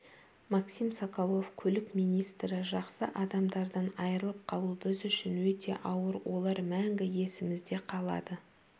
максим соколов көлік министрі жақсы адамдардан айырылып қалу біз үшін өте ауыр олар мәңгі есімізде қалады